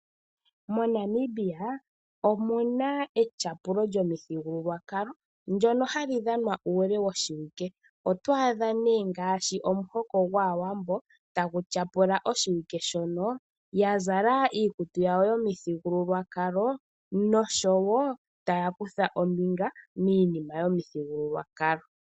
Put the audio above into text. Monamibia omuna etyapulo lyomithigululwakalo ndono hali dhanwa uule woshiwike . Oto adha nee ngaashi omuhoka gwaawambo tagu tyapula oshiwike shono yazala iikutu yawo yomuthigululwakalo oshowo taya kutha ombinga miinima yomuthigululwakalo.